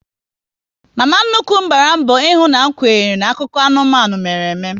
Mama nnukwu m gbara mbọ ihu na m kwere n'akụkọ anụmanụ mere ime